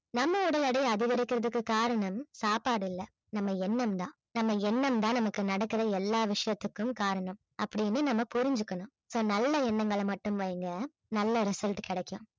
நம்ம உடல் எடை அதிகரிக்குறதுக்கு காரணம் சாப்பாடு இல்லை நம்ம எண்ணம் தான் நம்ம எண்ணம் தான் நமக்கு நடக்கிற எல்லா விஷயத்துக்கும் காரணம் அப்படின்னு நம்ம புரிஞ்சுக்கணும் so நல்ல எண்ணங்களை மட்டும் வைங்க நல்ல result கிடைக்கும்